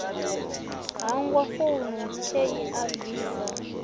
hangwa founu khei a bvisa